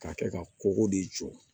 K'a kɛ ka kogo de jɔ